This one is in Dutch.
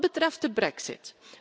Wat betreft de brexit.